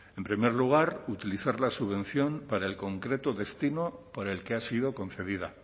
en primer lugar utilizar la subvención para el concreto destino por el que ha sido concedida